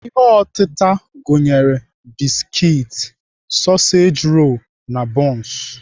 Ihe otịta gụnyere biskit, sọseji rolu, na bọns.